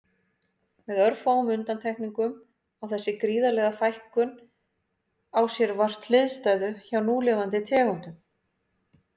Með örfáum undantekningum á þessi gríðarlega fækkun á sér vart hliðstæðu hjá núlifandi tegundum.